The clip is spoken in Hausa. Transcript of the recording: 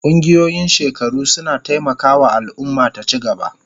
Ƙungiyoyin shekaru suna taimaka wa al'umma ta ci gaba.